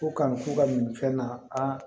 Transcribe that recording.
Ko kanu k'u ka nin fɛn na a